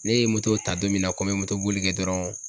Ne ye moto ta don min na, n ko n be moto boli kɛ dɔrɔn